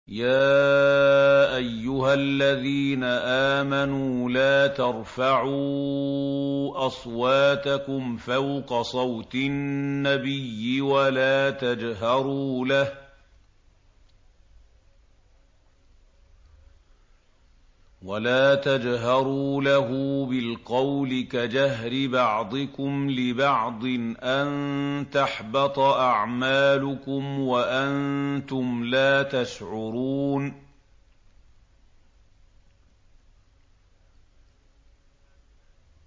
يَا أَيُّهَا الَّذِينَ آمَنُوا لَا تَرْفَعُوا أَصْوَاتَكُمْ فَوْقَ صَوْتِ النَّبِيِّ وَلَا تَجْهَرُوا لَهُ بِالْقَوْلِ كَجَهْرِ بَعْضِكُمْ لِبَعْضٍ أَن تَحْبَطَ أَعْمَالُكُمْ وَأَنتُمْ لَا تَشْعُرُونَ